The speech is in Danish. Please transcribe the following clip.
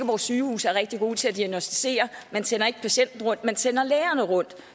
vores sygehuse er rigtig gode til at diagnosticere man sender ikke patienten rundt man sender lægerne rundt